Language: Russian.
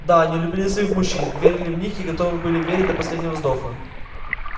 да они любили своих мужчин верили в них и готовы были верить до последнего вздоха